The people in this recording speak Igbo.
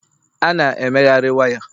a na emegharị waya